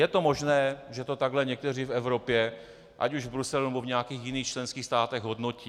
Je to možné, že to takhle někteří v Evropě, ať už v Bruselu, nebo v nějakých jiných členských státech, hodnotí.